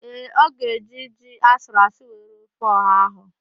Ee, ọ ga-eji ji asụrụasụ wee rie ofe ọha ahụ.